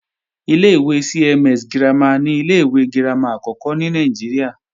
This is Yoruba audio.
Ilé-ìwé CMS girama ni ilé-ìwé girama àkọ́kọ́ ní Nàìjíríà